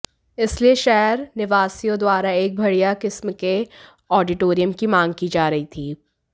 इसलिए शहर निवासियों द्वारा एक बढिय़ा किस्म के आडीटोरियम की मांग की जा रही थी